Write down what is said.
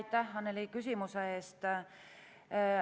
Aitäh, Annely, küsimuse eest!